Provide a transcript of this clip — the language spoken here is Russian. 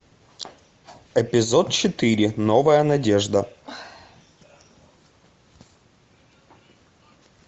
эпизод четыре новая надежда